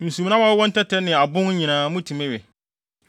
Nsumnam a wɔwɔ ntɛtɛ ne abon nyinaa mutumi we.